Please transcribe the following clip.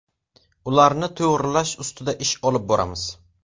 Ularni to‘g‘rilash ustida ish olib boramiz.